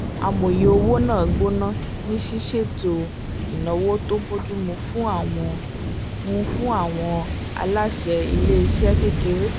amòye owó náà gbóná ní ṣiṣe ètò ináwó tó bójú mu fún àwọn mu fún àwọn aláṣẹ ilé iṣẹ́ kékeré